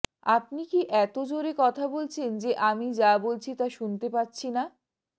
আপনি কি এত জোরে কথা বলছেন যে আমি যা বলছি তা শুনতে পাচ্ছি না